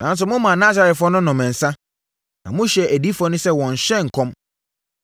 “Nanso momaa Nasarefoɔ no nom nsã na mohyɛɛ adiyifoɔ no sɛ wɔnnhyɛ nkɔm.